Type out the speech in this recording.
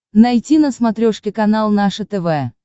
найти на смотрешке канал наше тв